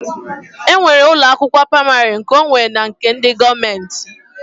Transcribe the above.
E nwere ụlọ akwụkwọ praimarị nkeonwe na nke ndị gọọmenti